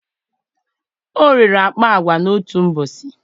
o rere akpa agwa n'otu ụbọchị